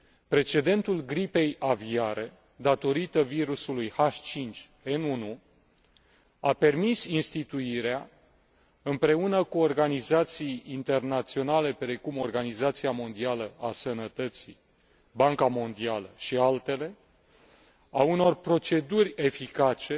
Precedentul gripei aviare, ca urmare a virusului H5N1, a permis instituirea, împreună cu organizații internaționale, precum Organizația Mondială a Sănătății, Banca Mondială și altele, a unor proceduri eficace